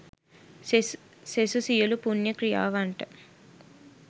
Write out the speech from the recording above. සෙසු සියලු පුණ්‍ය ක්‍රියාවන්ට